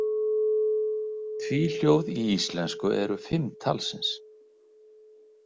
Tvíhljóð í íslensku eru fimm talsins.